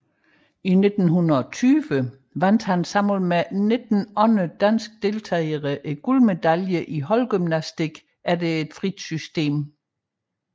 I 1920 vandt han sammen med 19 andre danske deltagere guldmedalje i holdgymnastik efter frit system